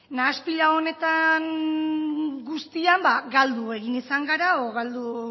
nahaste honetan guztiak galdu egin izan gara edo galdu